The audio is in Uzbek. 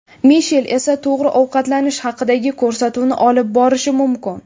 Mishel esa to‘g‘ri ovqatlanish haqidagi ko‘rsatuvni olib borishi mumkin.